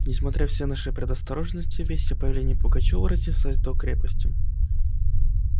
несмотря все наши предосторожности весть о появлении пугачёва разнеслась до крепости